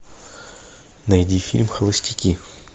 найди фильм холостяки